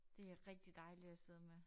Det rigtig dejligt at sidde med